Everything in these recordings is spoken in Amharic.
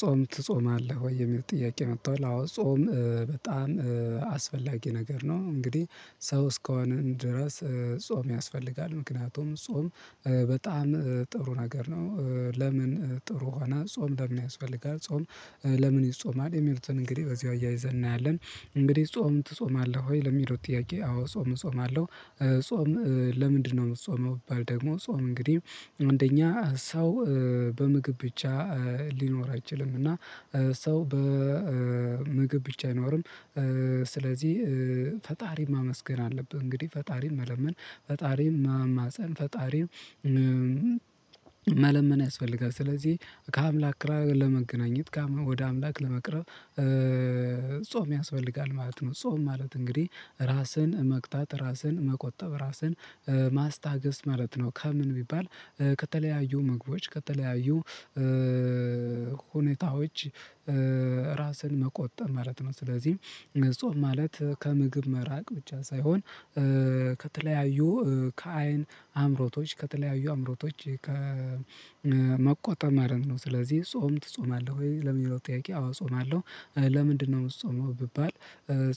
ጾም? ትጾማለህ ወይ የሚል ጥያቄ መጥቷል አዎ ጾም በጣም አስፈላጊ ነገር ነው። እንግዲህ ሰው እስከሆንን ድረስ ጾም ያስፈልጋል ምክንያቱም ጾም በጣም ጥሩ ነገር ነው። ለምን ጥሩ ሆነ ጾም ለምን ያስፈልጋል? ጾም ለምን ይጾማል የሚሉትን እንግዲህ በዚህ አያይዘን እናያለን። እንግዲህ ጾም ትጾማለህ ወይ ለሚሉት ጥያቄ አዎ ጾም እጾማለሁ። ጾም ለምንድነው የምትጾመው? ደግሞ ጾም እንግዲህ አንደኛ ሰው በምግብ ብቻ ሊኖር አይችልም። እና ሰው በምግብ ብቻ አይኖርም። ስለዚህ ፈጣሪ ማመስገን አለብህ። እንግዲህ ፈጣሪን መለመን ፈጣሪን መማፀን ፈጣሪን መለመን ያስፈልጋል። ስለዚህ ከአምላክ ለመገናኘት ወደ አምላክ ለመቅረብ ጾም ያስፈልጋል ማለት ነው። ጾም ማለት እንግዲህ ራስን መቅጣት ራስን መቆጠብ ራስን ማስታገስ ማለት ነው። ከምን ቢባል ከተለያዩ ምግቦች ከተለያዩ ሁኔታዎች ራስን መቆጠብ ማለት ነው። ስለዚህ ጾም ማለት ከምግብ መራቅ ብቻ ሳይሆን ከተለያዩ ከአይን አምሮቶች ከተለያዩ አምሮቶች ከ መቆጠብ ማለት ነው። ስለዚህ ጾም ትጾማለህ ወይ ለሚለው ጥያቄ አዎ እጾማለሁ። ለምንድነው የምትጾመው? ቢባል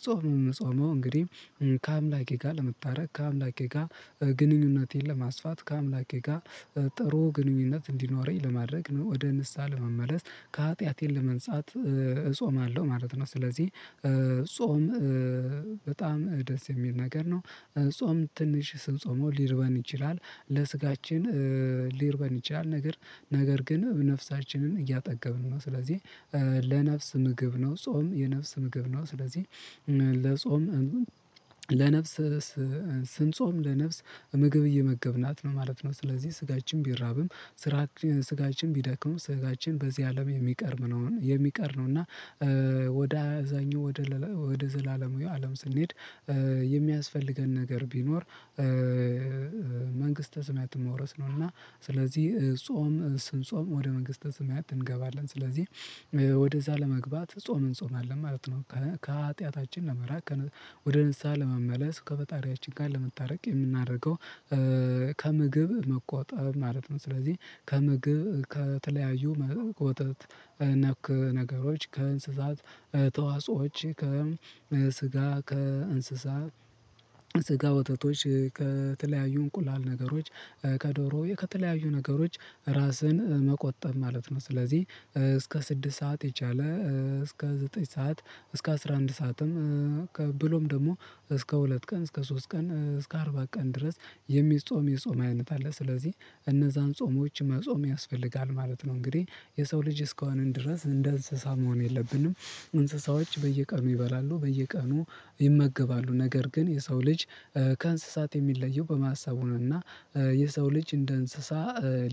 ጾም የምትጾመው እንግዲህ ከአምላኬ ጋር ለመታረቅ ከአምላኬ ጋር ግንኙነቴን ለማስፋት ከአምላኬ ጋር ጥሩ ግንኙነት እንዲኖረኝ ለማድረግ ነው። ወደ ንስሃ ለመመለስ ከሀጢያቴን ለመንጻት እጾማለሁ ማለት ነው። ስለዚህ ጾም በጣም ደስ የሚል ነገር ነው። ጾም ትንሽ ስንጾመው ሊርበን ይችላል ለስጋችን ሊርበን ይችላል ነገር ነገር ግን ነፍሳችንን እያጠገብን ነው። ስለዚህ ለነፍስ ምግብ ነው ጾም የነፍስ ምግብ ነው። ስለዚህ ለጾም ለነፍስ ስንጾም ለነፍስ ምግብ እየመገብናት ነው ማለት ነው። ስለዚህ ስጋችን ቢራብም ስጋችን ቢደክሙም ስጋችን በዚህ አለም የሚያቀርብ ነው የሚቀር ነው። እና ወደ አዛኙ ወደ ወደ ዘላለማዊ አለም ስንሄድ የሚያስፈልገን ነገር ቢኖር መንግስተ ሰማያት መውረስ ነው። እና ስለዚህ ጾም ስንጾም ወደ መንግስተ ሰማያት እንገባለን ስለዚህ ወደዛ ለመግባት ጾምን እንጾማለን ማለት ነው። ከሀጢያታችን ለመራቅ ወደ ንስሃ ለመመለስ ከፈጣሪያችን ጋር ለመታረቅ የምናደርገው ከምግብ መቆጠብ ማለት ነው። ስለዚህ ከምግብ ከተለያዩ መቆጠት ነክ ነገሮች ከእንስሳት ተዋጾዎች ከስጋ ከእንስሳት ስጋ ወተቶች ከተለያዩ እንቁላል ነገሮች ከዶሮ ከተለያዩ ነገሮች ራስን መቆጠብ ማለት ነው። ስለዚህ እስከ ስድስት ሰዓት የቻለ እስከ ዘጠኝ ሰዓት እስከ አስራ አንድ ሰዓትም ብሎም ደግሞ እስከ ሁለት ቀን እስከ ሶስት ቀን እስከ አርባ ቀን ድረስ የሚጾም የጾም አይነት አለ። ስለዚህ እነዛን ጾሞች መጾም ያስፈልጋል ማለት ነው። እንግዲህ የሰው ልጅ እስከሆንን ድረስ እንደ እንስሳ መሆን የለብንም። እንስሳዎች በየቀኑ ይበላሉ በየቀኑ ይመገባሉ ነገር ግን የሰው ልጅ ከእንስሳት የሚለየው በማሰቡ ነው። እና የሰው ልጅ እንደ እንስሳ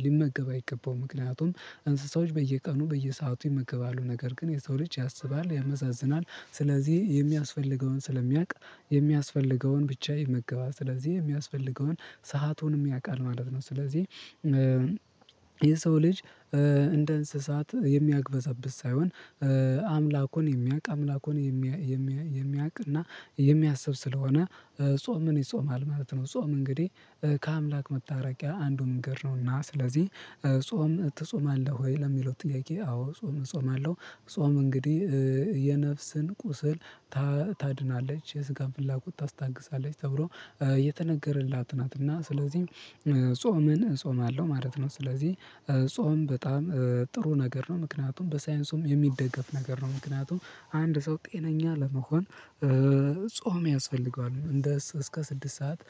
ሊመገብ አይገባውም። ምክንያቱም እንስሳዎች በየቀኑ በየሰአቱ ይመገባሉ ነገር ግን የሰው ልጅ ያስባል ያመዛዝናል። ስለዚህ የሚያስፈልገውን ስለሚያውቅ የሚያስፈልገውን ብቻ ይመገባል ስለዚህ የሚያስፈልገውን ሰአቱንም ያውቃል ማለት ነው። ስለዚህ የሰው ልጅ እንደ እንስሳት የሚያግበሰብስ ሳይሆን አምላኩን የሚያውቅ አምላኩን የሚያውቅ እና የሚያስብ ስለሆነ ጾም ምን ይጾማል ማለት ነው። ጾም እንግዲህ ከአምላክ መታረቂያ አንዱን እንግድ ነውና ስለዚህ ጾም ትጾማለህ? ወይ ለሚለው ጥያቄ አዎ ጾም እጾማለሁ። ጾም እንግዲህ የነፍስን ቁስል ታድናለች የስጋን ፍላጎት ታስታግሳለች ተብሎ የተነገረላት ናት። እና ስለዚህ ጾምን እጾማለሁ ማለት ነው። ስለዚህ ጾም በጣም ጥሩ ነገር ነው። ምክንያቱም በሳይንሱም የሚደገፍ ነገር ነው። ምክንያቱም አንድ ሰው ጤነኛ ለመሆን ጾም ያስፈልገዋል። እንደ እስከ ስድስት ሰዓት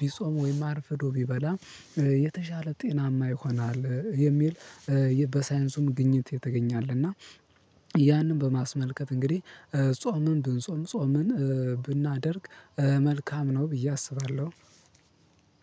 ቢጾም ወይም አርፍዶ ቢበላ የተሻለ ጤናማ ይሆናል። የሚል በሳይንሱም ግኝት የተገኘ አለና። ያንን በማስመልከት እንግዲህ ጾምን ብንጾም ጾምን ብናደርግ መልካም ነው። ብዬ አስባለሁ።